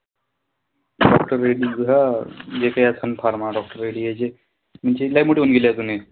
हा जे काई असंन pharma म्हणजे लय मोठे होऊन गेले जुने.